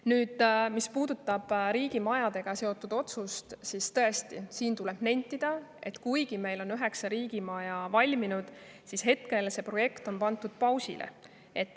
Nüüd, mis puudutab riigimajadega seotud otsust, siis tõesti, tuleb nentida, et kuigi meil on üheksa riigimaja valminud, siis hetkel see programm on pandud pausile.